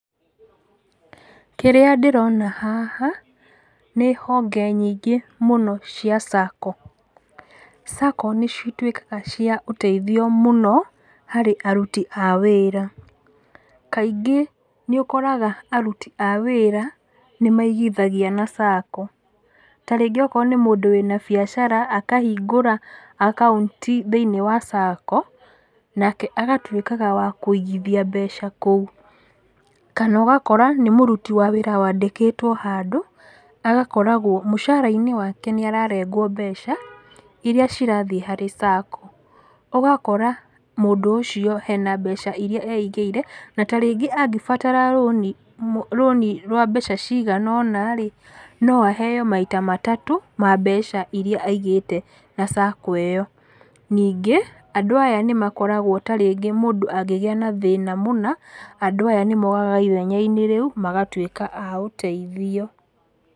Kĩrĩa ndĩrona haha, nĩ honge nyingĩ mũno cia Sacco. Sacco nĩ cituĩkaga cia ũteithio mũno harĩ aruti a wĩra. Kaingĩ nĩ ũkoraga aruti a wĩra nĩ maigithagia na Sacco. Ta rĩngĩ akorwo nĩ mũndũ wĩna biacara akahingũra akaunti thĩinĩ wa Sacco nake agatuĩkaga wa kũigithia mbeca kũu. Kana ũgakora nĩ mũruti wa wĩra wandĩkĩtwo handũ agakoragwo mũcara-inĩ wake nĩ ararengwo mbeca irĩa cirathiĩ thĩinĩ wa Sacco. Ũgakora mũndũ ũcio hena mbeca eigĩire na ta rĩngĩ angĩbatara rũni rwa mbeca cigana ũna rĩ, no aheo maita matatũ ma mbeca irĩa aigithĩtie na Sacco ĩyo. Ningĩ andũ aya nĩ makoragwo ta rĩngĩ mũndũ angĩgĩa na thĩna mũna, andũ aya nĩ mokaga ithenya-inĩ rĩu magatuĩka a ũteithio.